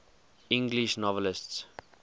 english novelists